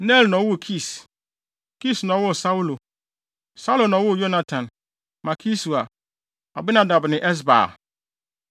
Ner na ɔwoo Kis. Kis na ɔwoo Saulo, Saulo na ɔwoo Yonatan, Malki-Sua, Abinadab ne Esbaal.